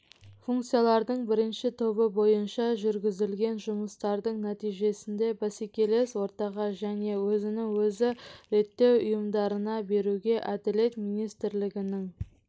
функциялардың бірінші тобы бойынша жүргізілген жұмыстардың нәтижесінде бәсекелес ортаға және өзін-өзі реттеу ұйымдарына беруге әділет министрлігінің